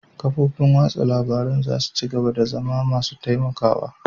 Kafofin watsa labarun za su ci gaba da zama masu taimakawa